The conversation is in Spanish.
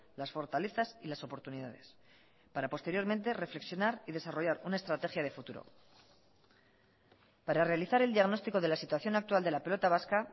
las fortalezas y las oportunidades para posteriormente reflexionar y desarrollar una estrategia de futuro para realizar el diagnóstico de la situación actual de la pelota vasca